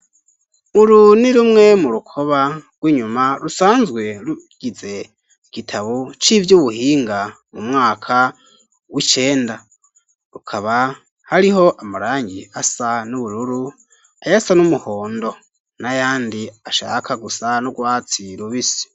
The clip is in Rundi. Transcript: Uru ni rumwe mu rukoba rw'inyuma rusanzwe rugize igitabo c'ivyubuhinga mu mwaka w'icenda rukaba hariho amarangi asa n'ubururu ayasa n'umuhondo n'ayandi ashaka gusa n'urwatsi rubisi.